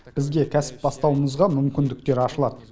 бізге кәсіп бастауымызға мүмкіндіктер ашылады